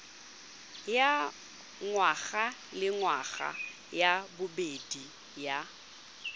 ya ngwagalengwaga ya bobedi ya